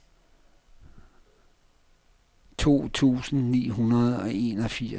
to tusind ni hundrede og enogfirs